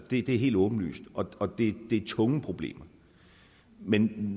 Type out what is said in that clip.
det er helt åbenlyst og det er tunge problemer men